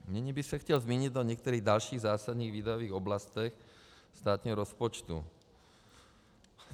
Nyní bych se chtěl zmínit o některých dalších zásadních výdajových oblastech státního rozpočtu.